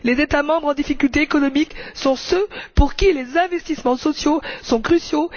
Les États membres en difficulté économique sont ceux pour qui les investissements sociaux sont cruciaux.